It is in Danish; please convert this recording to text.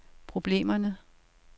problemerne